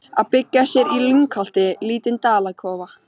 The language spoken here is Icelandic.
Að byggja sér í lyngholti lítinn dalakofa.